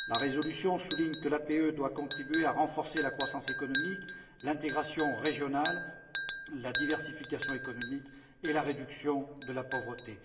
La résolution souligne que l'APE doit contribuer à renforcer la croissance économique, l'intégration régionale, la diversification économique et la réduction de la pauvreté.